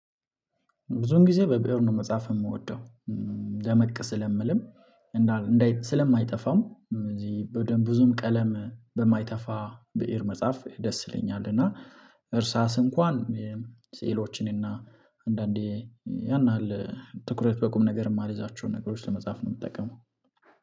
ብዙን ጊዜ በብእር ነው መጻፍ የምወደው ደመቅ ስለምልም እንዳል እንዳይ ስለማይጠፋም እዚህ በደንብ ብዙም ቀለም በማይተፋ ብእር መጻፍ ደስ ይለኛል። እና እርሳስ እንኳን ሴዕሎችን እና አንዳንዴ ያን ያህል ትኩረት በቁም ነገር የማልይዛቸውን ነገሮች ለመጻፍ ነው የምጠቀመው